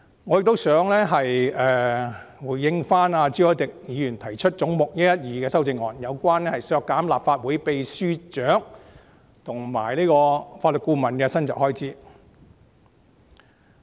我也想回應朱凱廸議員就總目112提出的修正案，目的是削減立法會秘書處秘書長及法律顧問的薪酬預算開支。